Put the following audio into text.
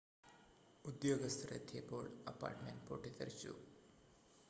ഉദ്യോഗസ്ഥർ എത്തിയപ്പോൾ അപ്പാർട്ട്മെൻ്റ് പൊട്ടിത്തെറിച്ചു